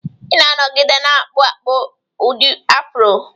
Ị na-anọgide na-akpụ akpụ ụdị Afro